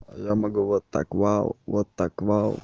я могу вот так вау вот так вау